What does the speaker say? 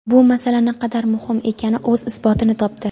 bu masala naqadar muhim ekani o‘z isbotini topdi.